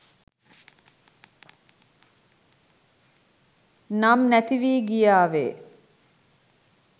නම් නැති වී ගියාවේ